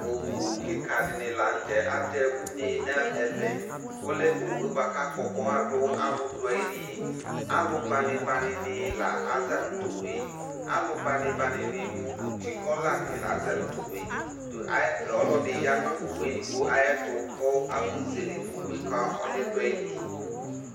Owʋ kika dini lanʋ tɛ atɛ ʋne nʋ ɛvɛ ɔlɛ owue bʋaka akpɔ ɔkpɔxa bʋakʋ alʋdʋ ayili alʋ banibani nɩ la aza nʋ tʋ owue alʋ banibani mʋ ʋtiɔlani ni la aza nʋ tʋ owʋe ɔlʋ ɛdi yanʋ owʋ edigbo ayʋ ɛtʋ kʋ afɔzele owʋe ka ɔlʋ yɛ dʋ ayili